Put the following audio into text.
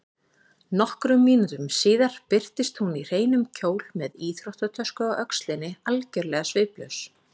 Nokkrum mínútum síðar birtist hún í hreinum kjól með íþróttatösku á öxlinni, algjörlega sviplaus.